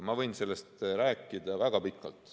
Ma võin sellest rääkida väga pikalt.